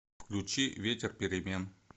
включи ветер перемен